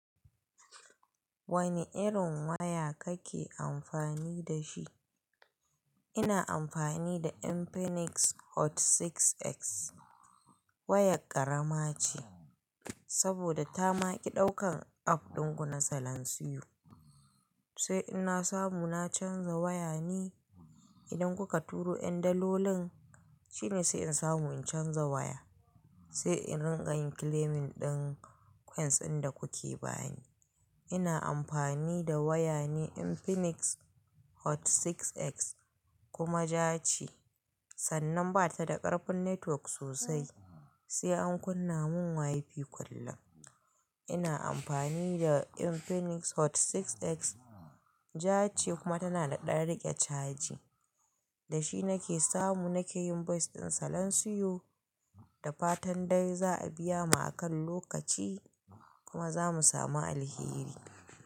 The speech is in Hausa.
Wane irin waya kake amfani da shi? Ina amfani da Infinix Hot 6X. Wayar ƙarama ce saboda ta maƙi ɗaukan app ɗin ku na salansiyo. Sai in na samu na canza waya ne? Idan kuka turo ƴan dalolin, shine sai in samu in canza waya, sai in riƙa yin claiming ɗin coins ɗin da kuke bani. Ina amfani da waya Infinix Hot 6X kuma ja ce. Sannan ba ta da ƙarfin network sosai, sai an kunna mun WiFi kullum. Ina amfani da Infinix Hot 6X, ja ce kuma tana da ɗanriƙe caji. Da shi nake samu nake yin voice ɗin salansiyo da fatan dai za a biya mu akan lokaci kuma za mu samu alheri.